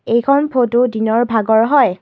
এইখন ফটো দিনৰ ভাগৰ হয়।